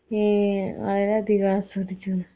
ഏ വളരെ അധികം ആസ്വദിച്ചു